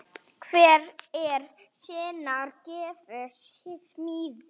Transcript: Hver er sinnar gæfu smiður